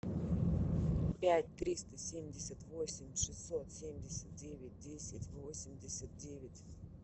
пять триста семьдесят восемь шестьсот семьдесят девять десять восемьдесят девять